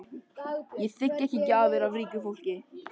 Ég þigg ekki gjafir af ríku fólki.